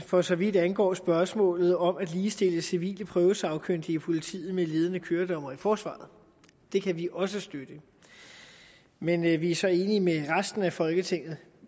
for så vidt angår spørgsmålet om at ligestille civile prøvesagkyndige i politiet med ledende køredommere i forsvaret det kan vi også støtte men vi er så enige med resten af folketinget